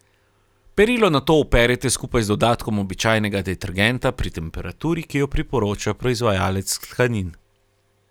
Perilo nato operite skupaj z dodatkom običajnega detergenta, pri temperaturi, ki jo priporoča proizvajalec tkanin.